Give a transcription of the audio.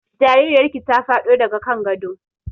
Jaririyar ki ta faɗo daga kan gado